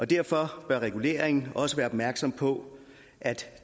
derfor bør reguleringen også være opmærksom på at